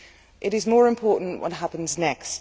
It is more important what happens next.